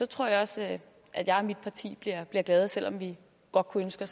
tror jeg også at at jeg og mit parti bliver glade selv om vi godt kunne ønske